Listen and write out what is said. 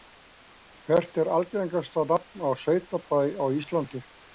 Hvert er algengasta nafn á sveitabæ á Íslandi?